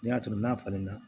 Ne y'a to n'a falenna